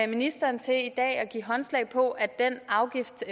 ministeren til i dag at give håndslag på at den afgift